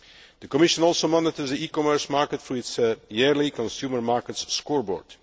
The Commission also monitors the e commerce market through its yearly consumer markets scoreboard.